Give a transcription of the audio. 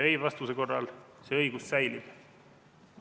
Ei-vastuse korral see õigus säilib.